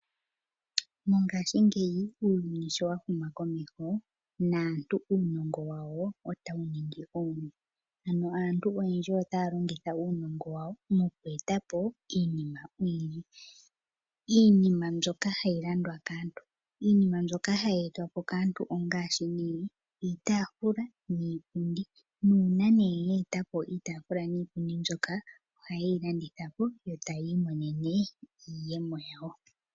Moongaashi ngeyi uuyuni sho wa huma komeho, naantu uunongo wa wo ota wu ningi owundji . Aantu oyendji ota ya longitha uunongo wa wo, moku eta po iinima oyindji. Iinima mbyoka ha yi landwa kaantu. Iinima mbyoka ha yi etwapo kaantu ongaashi nee, iitaafula niipundi. Uuna ye eta po iitaafula niipundi mbyoka oha yi landithapo yo ta yi imonene iiyemo yawo.